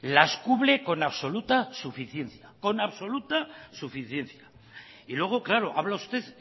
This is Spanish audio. las cubre con absoluta suficiencia y luego claro habla usted